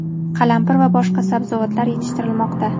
qalampir va boshqa sabzavotlar yetishtirilmoqda.